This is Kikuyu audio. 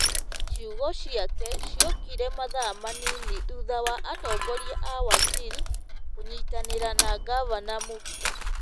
Ciugo ciake ciokire mathaa manini thutha wa atongoria a Wajir kũnyitanĩra na ngavana Muktar,